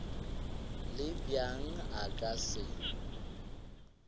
le bjang a ka se